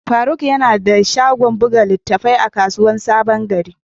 Faruk yana da shagon buga littattafai a kasuwar sabon gari.